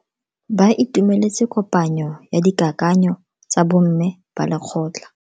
Ba itumeletse kopanyo ya dikakanyo tsa bo mme ba lekgotla.